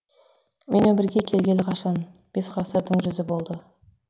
мен өмірге келгелі қашан бес ғасырдың жүзі болды